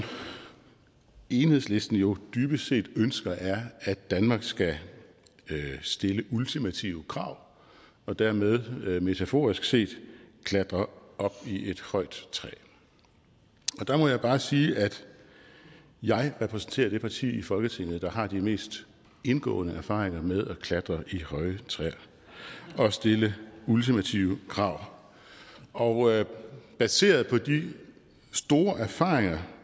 enhedslisten jo dybest set ønsker er at danmark skal stille ultimative krav og dermed metaforisk set klatre op i et højt træ og der må jeg bare sige at jeg repræsenterer det parti i folketinget der har de mest indgående erfaringer med at klatre i høje træer og stille ultimative krav og baseret på de store erfaringer